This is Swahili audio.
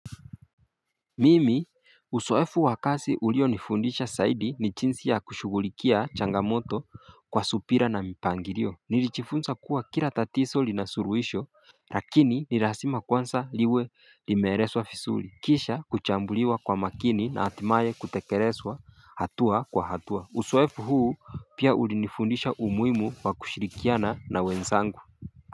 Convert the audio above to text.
Mimi uzoefu wa kazi ulionifundisha zaidi ni jinsi ya kushugulikia changamoto kwa subra na mipangilio Nilijifunza kuwa kila tatizo linasuluhisho lakini ni lazima kwanza liwe limeelezwa vizuri Kisha kuchambuliwa kwa makini na hatimaye kutekelezwa hatua kwa hatua uzoefu huu pia ulinifundisha umuhimu wa kushirikiana na wenzangu.